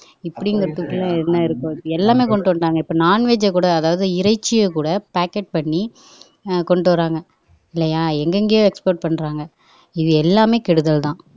இப்படிங்கிறதுக்குள்ள என்ன இருக்கும் எல்லாமே கொண்டுட்டு வந்துட்டாங்க இப்ப non veg அ கூட அதாவது இறைச்சியை கூட packet பண்ணி ஆஹ் கொண்டு வர்றாங்க இல்லையா எங்கெங்கேயோ export பண்றாங்க இது எல்லாமே கெடுதல்தான்